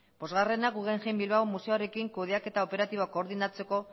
bosgarrena guggenheim bilbao museoarekin kudeaketa operatibo koordinatzeko